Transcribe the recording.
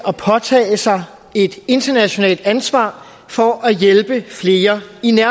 at påtage sig et internationalt ansvar for at hjælpe flere